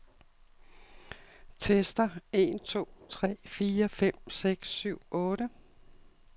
Tester en to tre fire fem seks syv otte.